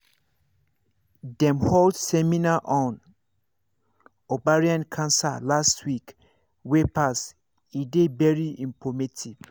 dem hold seminar on ovarian cancer last week wey pass e dey very informative